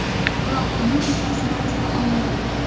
Biroq buning uddasidan chiqa olmagan.